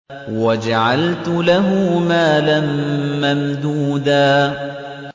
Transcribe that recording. وَجَعَلْتُ لَهُ مَالًا مَّمْدُودًا